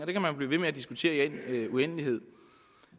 kan man blive ved med at diskutere i al uendelighed